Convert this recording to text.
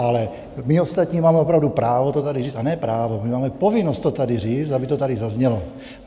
Ale my ostatní máme opravdu právo to tady říct, a ne právo, my máme povinnost to tady říct, aby to tady zaznělo.